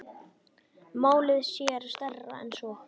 Málið sé stærra en svo.